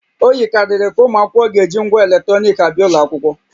O yikarịrị ka ụmụ akwụkwọ ga-eji ngwa eletrọnịkị abịa ụlọ akwụkwọ